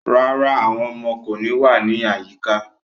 No, the children will not be around today